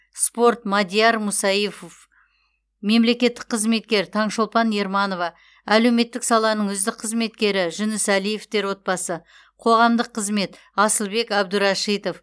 спорт мадияр мусаифов мемлекеттік қызметкер таңшолпан ерманова әлеуметтік саланың үздік қызметкері жүнісәлиевтер отбасы қоғамдық қызмет асылбек әбдурашитов